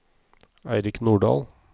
Eirik Nordal